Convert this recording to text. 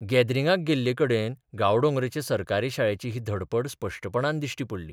गॅदरिंगाक गेल्लेकडेन गांवडोंगरेचे सरकारी शाळेची ही धडपड स्पश्टपणान दिश्टी पडली.